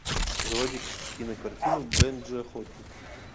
заводи кинокартину бенджи охотник